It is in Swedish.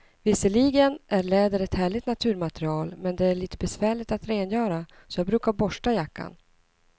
Visserligen är läder ett härligt naturmaterial, men det är lite besvärligt att rengöra, så jag brukar borsta jackan.